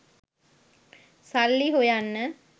සල්ලි හොයන්න